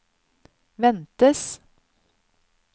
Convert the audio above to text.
ventes